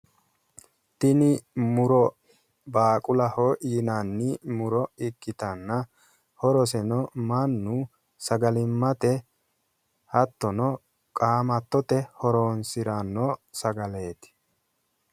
tini muro baaqulaho yinanni muro ikitanna horoseno mannu sagalimmate hattono qaamattote horonsiranno sagaleeti